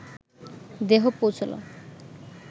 দেহ পৌঁছল